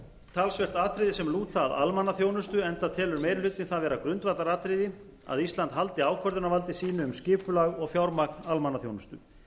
talsvert atriði sem lúta að almannaþjónustu enda telur meiri hlutinn það vera grundvallaratriði að ísland haldi ákvörðunarvaldi sínu um skipulag og fjármagn almannaþjónustu